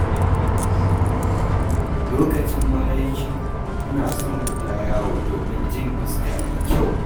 Lokacin maraice, ina son fita yawo domin jin iska mai kyau.